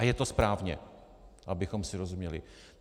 A je to správně, abychom si rozuměli.